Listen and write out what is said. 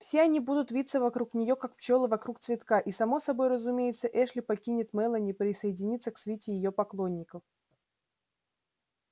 все они будут виться вокруг нее как пчелы вокруг цветка и само собой разумеется эшли покинет мелани присоединится к свите её поклонников